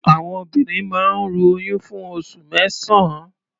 Àwọn obìnrin máa ń ru oyún fún oṣù mẹ́sàn-án.